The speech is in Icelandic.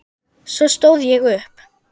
Svo stóð ég upp.